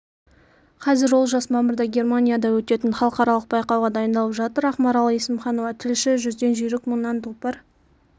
қазір олжас мамырда германияда өтетін халықаралық байқауға дайындалып жатыр ақмарал есімханова тілші жүзден жүйрік мыңнан тұлпар